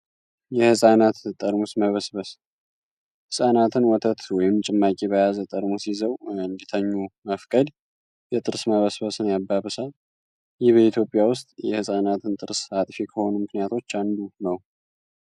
የህጻናት ጠርሙስ መበስበስ ህጻናትን ወተት ወይንም ጭማቂ በያዘ ጠርሙስ ይዘዉ እንዲተኙ መፍቀድ የጥርስ መበስበስን ያባብሳል። ይህ በኢትዮጵያ ዉስጥ የህጻናትን ጥርስ አጥፊ ከሆኑ ምክንያቶች አንዱ ነዉ።